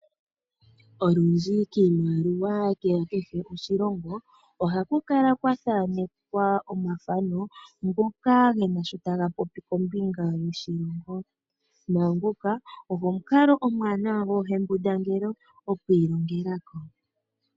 Olundji kiimaliwa yoshilongo kehe ohaku kala kwa thanekwa omathano ngoka ge na shi taga popi kombinga yoshilongo. Naa ngoka ogo omukalo omuwanawa koohembundangele oku ilongela ko.